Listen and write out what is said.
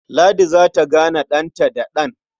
Ladi za ta gane ɗanta'ddan.